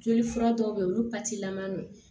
Joli fura dɔw bɛ yen olu lama don